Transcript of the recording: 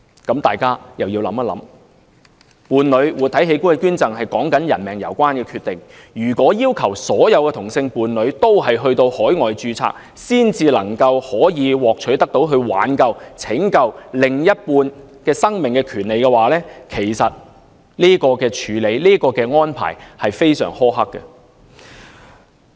大家又要想一想，伴侶活體器官捐贈，說的是人命攸關的決定；如果要求所有同性伴侶都要到海外註冊，才能夠獲取拯救另一半生命的權利，這種處理和安排其實非常苛刻。